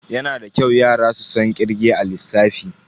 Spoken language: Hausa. Yana da kyau yara su san kirge a lissafi.